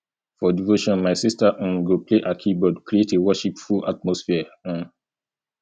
for devotion my sister um go play her keyboard create a worshipful atmosphere um